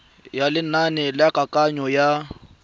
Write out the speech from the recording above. ya lenane la kananyo ya